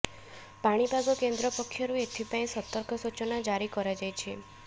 ପାଣିପାଗ କେନ୍ଦ୍ର ପକ୍ଷରୁ ଏଥିପାଇଁ ସତର୍କ ସୂଚନା ଜାରି କରାଯାଇଛି